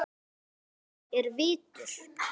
Snotra er vitur